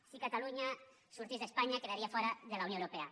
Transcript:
si catalunya sortís d’espanya quedaria fora de la unió europea